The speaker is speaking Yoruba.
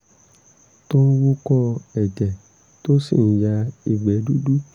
tó ń wúkọ́ ẹ̀jẹ̀ tó sì ń ya ìgbẹ́ dúdú